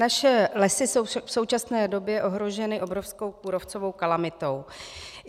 Naše lesy jsou v současné době ohroženy obrovskou kůrovcovou kalamitou.